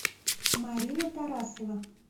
марина тарасова